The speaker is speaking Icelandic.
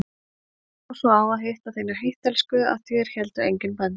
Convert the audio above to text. Þér lá svo á að hitta þína heittelskuðu að þér héldu engin bönd.